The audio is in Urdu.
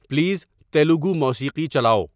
پلیز تیلگو موسیقی چلاؤ